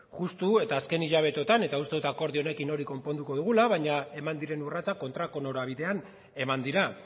justu eta azken hilabeteotan eta uste dut akordio honekin hori konponduko dugula baina eman diren urratsak kontrako norabidean eman dira